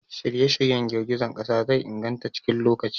Shirye-shiryen girgizar ƙasa zai inganta cikin lokaci.